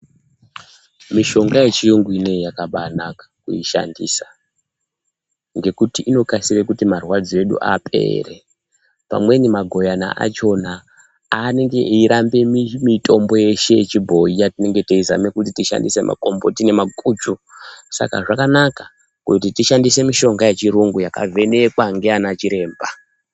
Mishonga yechiyungu inei yakabanaka kuisandisa ngekuti inokasire kuti marwadzo edu apere pamweni maguyana achona anenge eiramba mitombo yeshe yechiboyi yatinenge teizama kuti tishandisa makomboti nemaguchu saka zvakanaka tishandise mishonga yechiyungu yakavhenekwa ngana chiremba.